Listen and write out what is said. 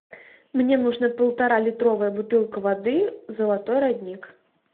мне нужна полуторалитровая бутылка воды золотой родник